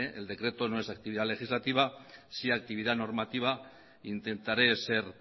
el decreto no es actividad legislativa sí actividad normativa intentaré ser